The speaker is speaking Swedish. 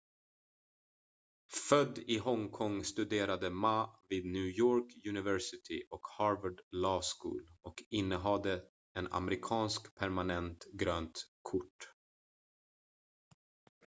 "född i hongkong studerade ma vid new york university och harvard law school och innehade en amerikanskt permanent "grönt kort"".